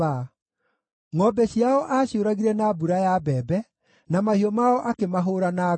Ngʼombe ciao aaciũragire na mbura ya mbembe, na mahiũ mao akĩmahũũra na ngwa.